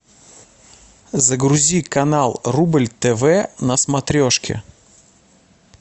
загрузи канал рубль тв на смотрешке